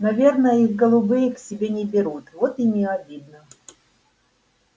наверное их голубые к себе не берут вот им и обидно